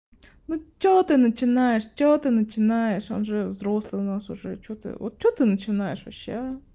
ну что ты начинаешь что ты начинаешь он же взрослый у нас уже что ты вот что ты начинаешь вообще а